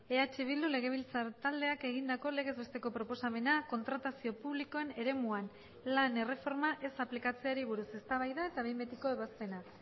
eh bildu legebiltzar taldeak egindako legez besteko proposamena kontratazio publikoen eremuan lan erreforma ez aplikatzeari buruz eztabaida eta behin betiko ebazpena